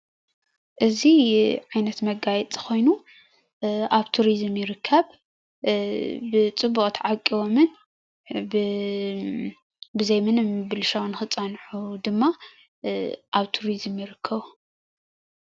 እዚ ዓይነት መጋየፂ ኮይኑ ኣብ ቱሪዝም ይርከብ ብፅቡቅ ተዓቂቦምን ብዘይ ምንም ብልሻው ንክፀንሑ ድማ ኣብ ቱሪዝም ይርከቡ::